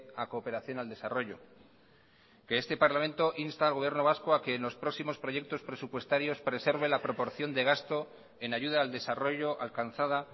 a cooperación al desarrollo que este parlamento insta al gobierno vasco a que en los próximos proyectos presupuestarios preserve la proporción de gasto en ayuda al desarrollo alcanzada